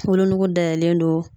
Wolonugu dayɛlɛlen don.